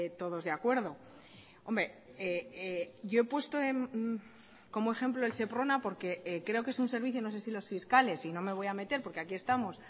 todos de acuerdo hombre yo he puesto como ejemplo el seprona porque creo que es un servicio no sé si los fiscales y no me voy a meter porque aquí estamos